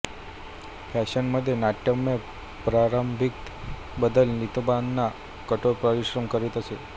फॅशनमध्ये नाट्यमय प्रारंभिक बदल नितंबांना कठोर परिश्रम करीत असे